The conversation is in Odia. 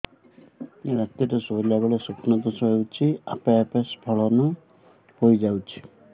ରାତିରେ ଶୋଇଲା ବେଳେ ସ୍ବପ୍ନ ଦୋଷ ହେଉଛି ଆପେ ଆପେ ସ୍ଖଳନ ହେଇଯାଉଛି